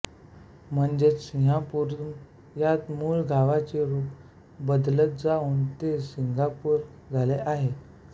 म्हणजेच सिंहपुरम या मूळ नावाचे रूप बदलत जाऊन ते सिंगापूर झाले आहे